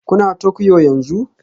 Kuna Tokyo yanzu?